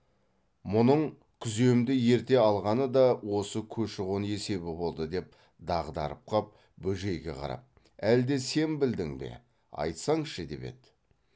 мұның күземді ерте алғаны да осы көші қон есебі болды деп дағдарып қап бөжейге қарап әлде сен білдің бе айтсаңшы деп еді